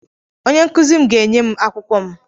Onye nkuzi m ga-enye m akwụkwọ m.